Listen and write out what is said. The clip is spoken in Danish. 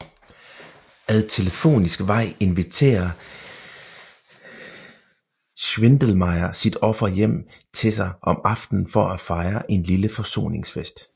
Ad telefonisk vej inviterer Schwindelmeyer sit offer hjem til sig om aftenen for at fejre en lille forsoningsfest